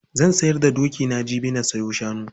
Zan sayar da dokina jibi na sayo shanu.